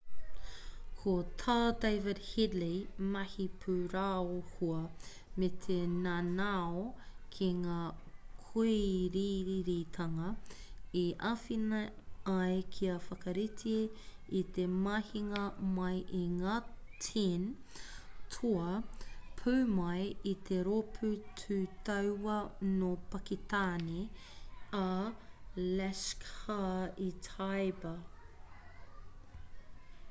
ko tā david headley mahi pūraohua me te nanao ki ngā kōiriiritanga i āwhina ai kia whakarite i te mahinga mai i ngā 10 toa pū mai i te rōpū tū tauā nō pakitāne a laskhar-e-taiba